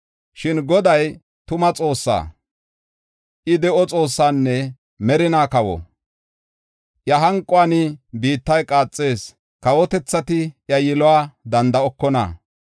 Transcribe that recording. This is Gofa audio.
Shin Goday tuma Xoossaa; I de7o Xoossaanne merinaa kawa. Iya hanquwan biittay qaaxees; kawotethati iya yiluwa danda7okona.